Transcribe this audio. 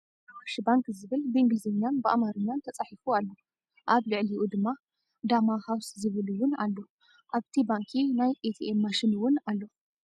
ኣዋሽ ባንክ ዝብል ብኢንግሊዘኛን ብኣማርኛን ተፃሒፉ ኣሎ። ኣብ ልዒልኡ ድማ ዳማ ሀውስ ዝብል እውን ኣሎ። ኣብቲ ባንኪ ናይ ኤትኤም ማሽን እውን ኣሎ።